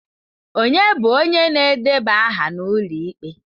Ọnye bụ onye na-edeba aha n'ụlọ ikpe?